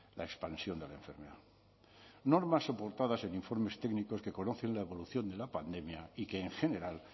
la expansión de la enfermedad normas soportadas en informes técnicos que conocen la evolución de la pandemia y que en general